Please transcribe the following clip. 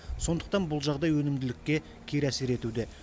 сондықтан бұл жағдай өнімділікке кері әсер етуде